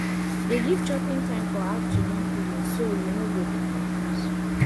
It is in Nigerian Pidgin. dey give chopping time for afternoon feedingso you no go dey confuse